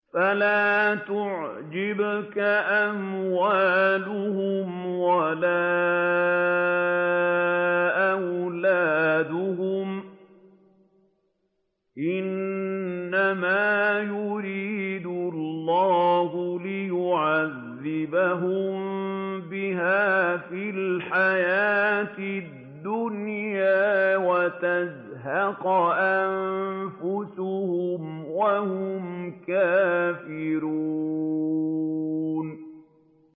فَلَا تُعْجِبْكَ أَمْوَالُهُمْ وَلَا أَوْلَادُهُمْ ۚ إِنَّمَا يُرِيدُ اللَّهُ لِيُعَذِّبَهُم بِهَا فِي الْحَيَاةِ الدُّنْيَا وَتَزْهَقَ أَنفُسُهُمْ وَهُمْ كَافِرُونَ